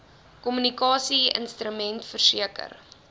kommunikasie instrument verseker